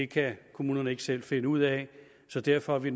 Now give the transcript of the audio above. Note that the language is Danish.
kan kommunerne ikke selv finde ud af så derfor er vi